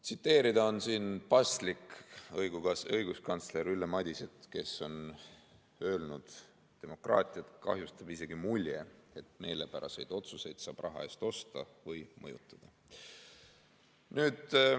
Siin on paslik tsiteerida õiguskantsler Ülle Madiset, kes on öelnud, et demokraatiat kahjustab isegi mulje, et meelepäraseid otsuseid saab raha eest osta või mõjutada.